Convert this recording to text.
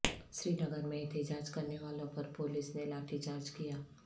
سرینگر میں احتجاج کرنے والوں پر پولیس نے لاٹھی چارج کیا